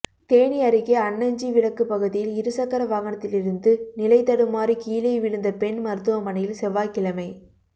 தேனி அருகே அன்னஞ்சி விலக்குப் பகுதியில் இருசக்கர வாகனத்திலிருந்து நிலைதடுமாறி கீழே விழுந்த பெண் மருத்துவமனையில் செவ்வாய்க்கிழமை